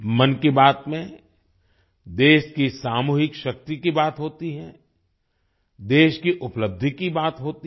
मन की बात में देश की सामूहिक शक्ति की बात होती है देश की उपलब्धि की बात होती है